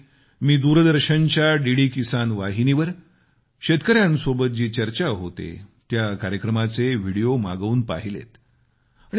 यावेळी मी दूरदर्शनच्या डीडी किसान वाहिनीवर शेतकऱ्यांसोबत जी चर्चा होते त्या कार्यक्रमाचे विडीओ मागवून पाहिलेत